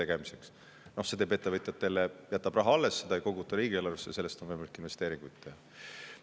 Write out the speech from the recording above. See raha jääb ettevõtjatele alles, seda ei koguta riigieelarvesse ja sellest on võimalik investeeringuid teha.